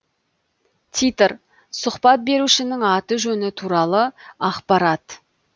титр сұхбат берушінің аты жөні туралы ақпарат